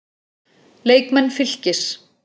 Leikmenn Fylkis